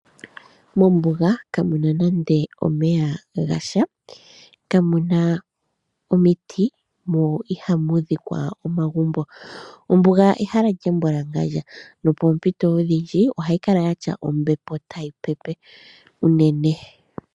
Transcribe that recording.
Mombuga kamuna nande omeya gasha kamuna omiti mo ihamu dhikwa omagumbo. Ombuga ehala lya mbwalangadja nopoompito odhindji ohayi kala yina ombepo tayi pepe.